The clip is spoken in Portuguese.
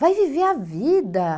Vai viver a vida.